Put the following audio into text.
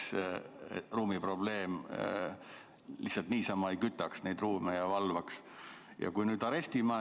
Siis ei oleks seda probleemi, et lihtsalt niisama kütame ja valvame neid ruume.